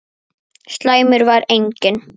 Slæmur var einnig